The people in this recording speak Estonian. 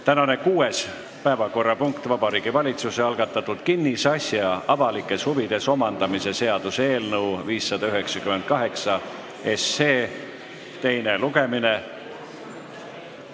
Tänane kuues päevakorrapunkt: Vabariigi Valitsuse algatatud kinnisasja avalikes huvides omandamise seaduse eelnõu 598 teine lugemine.